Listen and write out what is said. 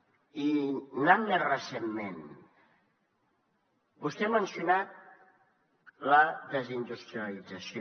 i anant a més recentment vostè ha mencionat la desindustrialització